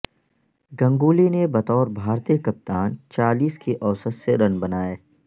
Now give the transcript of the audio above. گنگولی نے بطور بھارتی کپتان چالیس کی اوسط سے رن بنائے